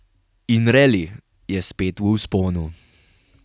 In reli je spet v vzponu.